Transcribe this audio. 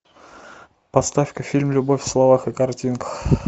поставь ка фильм любовь в словах и картинках